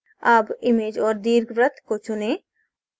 अब image औऱ दीर्घवृत्त को चुनें